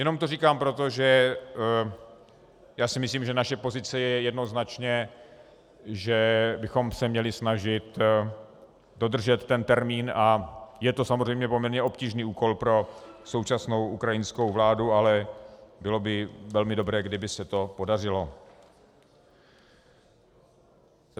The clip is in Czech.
Jenom to říkám proto, že si myslím, že naše pozice je jednoznačně, že bychom se měli snažit dodržet ten termín, a je to samozřejmě poměrně obtížný úkol pro současnou ukrajinskou vládu, ale bylo by velmi dobré, kdyby se to podařilo.